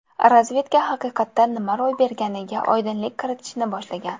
Razvedka haqiqatda nima ro‘y berganiga oydinlik kiritishni boshlagan.